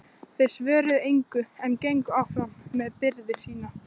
Þeir svöruðu engu en gengu áfram með byrði sína.